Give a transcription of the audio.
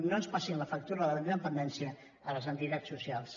no ens passin la factura de la independència a les entitats socials